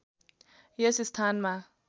यस स्थानमा